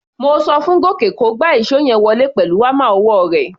Mo so fún Gòkè kó gba ìṣó yẹn wọlé pẹ̀lú hámà ọwọ́ rẹ̀.